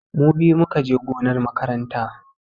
Mu biyu mu ka je gonar makaranta.